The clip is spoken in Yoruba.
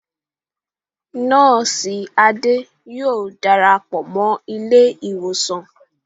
Nọ́ọ̀sì Ade yóò darapọ̀ mọ́ ilé ìwòsàn